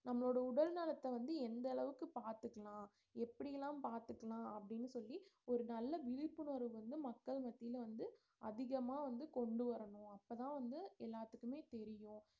நம்மளோட உடல் நலத்தை வந்து எந்த அளவுக்கு பார்த்துக்கலாம் எப்படி எல்லாம் பாத்துக்கலாம் அப்படீன்னு சொல்லி ஒரு நல்ல விழிப்புணர்வு வந்து மக்கள் மத்தியில வந்து அதிகமா வந்து கொண்டு வரணும் அப்பதான் வந்து எல்லாத்துக்குமே தெரியும்